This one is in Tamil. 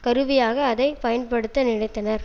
கருவியாக அதை பயன்படுத்த நினைத்தனர்